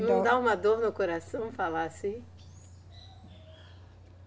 Não dá uma dor no coração falar assim?